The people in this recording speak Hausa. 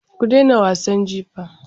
Ku dena wasan jifa.